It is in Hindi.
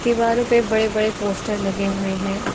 दीवारो पे बड़े बड़े पोस्टर लगे हुए हैं।